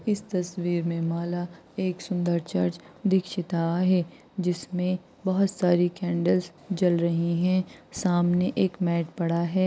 S तस्वीर में मला एक सुंदर चर्च दीक्षिता आहे. जिसमे भौत सारे कैंडलस जल रही है। सामने एक मॅट पड़ा है।